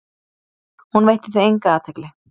Hún veitti því enga athygli.